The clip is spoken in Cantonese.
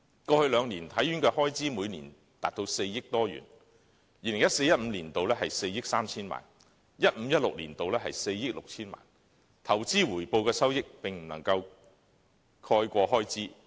過去兩年，體院的開支每年達4億多元，在 2014-2015 年度是4億 3,000 萬元 ，2015-2016 年度則是4億 6,000 萬元，投資回報的收益並不足以應付開支。